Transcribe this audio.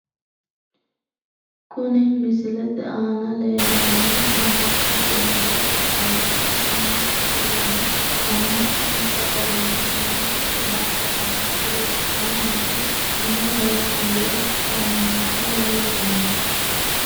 kuni misilete aana leellannohu amma'note manna ikkanna kuni amma'note manni amma'nonsa garinni ammanote massagaanchi huuccannasi umo heeshshi yee adhanni nooha leellishshano.